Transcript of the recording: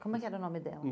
Como é que era o nome dela?